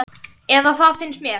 Eða það finnst mér.